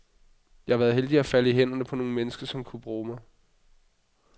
Jeg har været heldig at falde i hænderne på nogle mennesker, som kunne bruge mig.